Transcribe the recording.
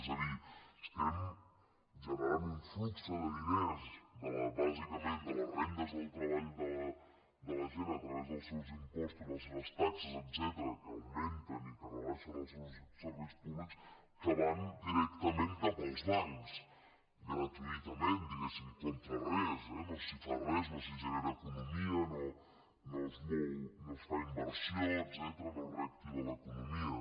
és a dir estem generant un flux de diners bàsicament de les rendes del treball de la gent a través dels seus impostos i les seves taxes etcètera que augmenten i que rebaixen els seus serveis públics que van directament cap als bancs gratuïtament diguéssim contra res eh no s’hi fa res no s’hi genera economia no es fa inversió etcètera no es reactiva l’economia